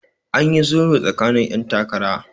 an yi sulhu tsakanin 'yan takara